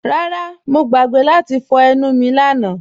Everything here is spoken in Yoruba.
Rárá, Mọ̀ gbàgbé láti fọ̀ ènù mí lànà